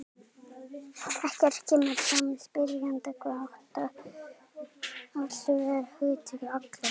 Ekki kemur fram hjá spyrjanda hvað átt sé við með hugtakinu allir.